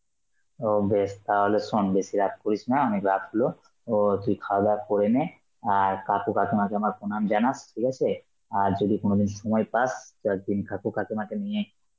ও বেশ তাহলে শোন বেশি রাত করিস না, অনেক রাত হল. ও তুই খাওয়া দাওয়া করে নে, আর কাকু কাকিমাকে আমার প্রণাম জানাস, ঠিক আছে? আর যদি কোনদিন সময় পাস তাহলে তুই কাকু কাকিমাকে নিয়ে